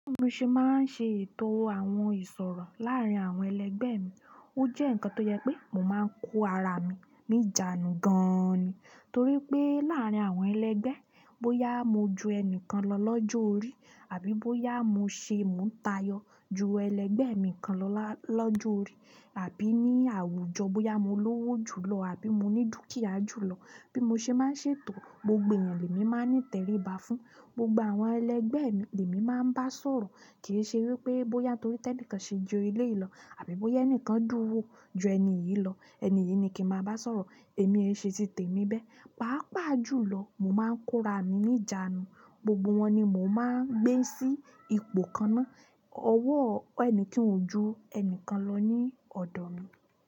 Bí mo ṣe máa ń ṣe ètò àwọn ìṣòro láàárín àwọn ẹlẹgbẹ́ mi, ó jẹ́ ǹkan tó jẹ pé mo máa ń kó ara mi níjánu gan-an ni. Torí pé láàárín àwọn ẹlẹgbẹ́, bóyá mo ju ẹni kan lọ lọ́jọ́ orí àbí bóyá mo ṣe mó ń tayọ ju ẹlẹgbẹ́ mi kan lọ lọ́jọ́ orí àbí ní àwùjọ bóyá mo lówó jù lọ àbí mo ní dúkìá jù lọ. Bí mo ṣe máa ń ṣe ètò, gbogbo èeyàn lèmi máa ń ní tẹríba fún. Gbogbo àwọn ẹlẹgbẹ́ mi lèmi máa ń bá sọ̀rọ̀. Kì í ṣe wípé bóyá torí tẹnìkan ṣe ju eleyìí lọ àbí bóyá ẹnìkan dúnwo ju ẹni yìí lọ, ẹni yìí ni kí ń máa bá sọ̀rọ̀. Emi ee se ti temi bẹ́ẹ̀ pàápàá jùlọ, mo máa ń kóra mi níjánu. Gbogbo wọn ni mò máa n gbé sí ipò kan náà. Ọwọ́ ẹni kan o ju ẹni kan lọ ní ọ̀dọ̀ mi.